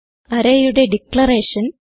arrayയുടെ declaration